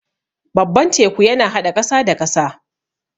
Babban teku yana haɗa ƙasa da ƙasa.